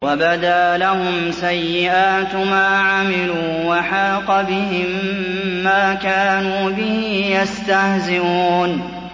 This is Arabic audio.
وَبَدَا لَهُمْ سَيِّئَاتُ مَا عَمِلُوا وَحَاقَ بِهِم مَّا كَانُوا بِهِ يَسْتَهْزِئُونَ